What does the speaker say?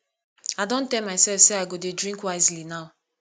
i don tell myself say i go dey drink wisely now